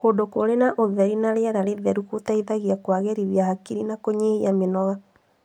Kũndũ kũrĩ na ũtheri na rĩera rĩtheru gũteithagia kũagĩrithia hakiri na kũnyihia mĩnoga.